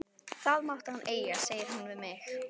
Það mátti hann eiga, segir hún við mig.